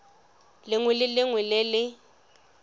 lengwe le lengwe le le